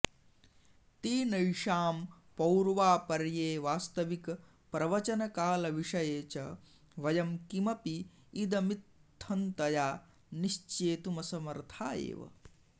तेनैषां पौर्वापर्ये वास्तविक प्रवचनकालविषये च वयं किमपि इदमित्थन्तया निश्चेतुमसमर्था एव